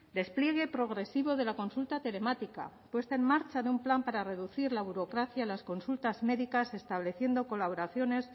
despliegue progresivo de la consulta telemática puesta en marcha de un plan para reducir la burocracia en las consultas médicas estableciendo colaboraciones